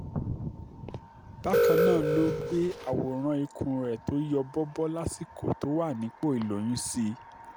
bákan náà ló gbé àwòrán ikùn ẹ̀ tó yọ bọbó lásìkò tó wà nípò ìlóyún sí i